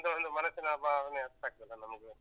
ನಿಮ್ದು ಒಂದು ಮನಸ್ಸಿನ ಭಾವನೆ ಅರ್ಥಾಗ್ತದಲ್ಲ ನಮಗೂ?